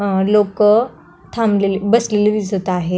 अ लोक थांबलेली बसलेली दिसत आहे.